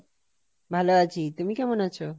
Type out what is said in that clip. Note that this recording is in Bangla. ভালো আছি তুমি কেমন আছো?